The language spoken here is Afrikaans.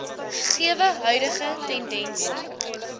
gegewe huidige tendense